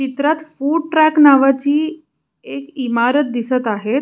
चित्रात food truck नावाची एक इमारत दिसत आहेत.